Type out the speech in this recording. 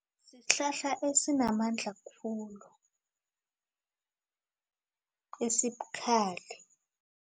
Sihlahla esinamandla khulu esibukhali.